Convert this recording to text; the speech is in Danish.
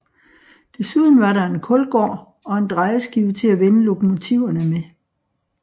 Desuden var der en kulgård og en drejeskive til at vende lokomotiverne med